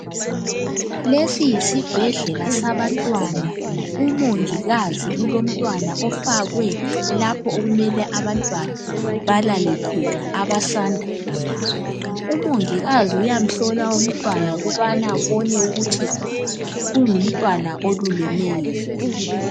Lesi yisibhedlela sabantwana. Umongikazi ulomntwana ofakwe lapho okumele abantwana balale khona abasanda kuzalwa. Umongikazi uyamhlola umtwana ukubana abone ukuthi ungumntwana olulemeyo yini.